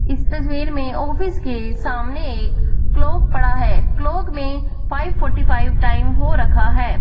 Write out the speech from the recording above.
इस तस्वीर में ऑफिस के सामने एक क्लॉक पड़ा है क्लॉक में फाइव फोर्टी फाइव टाइम हो रखा है।